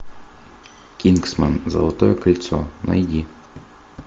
кингсман золотое кольцо найди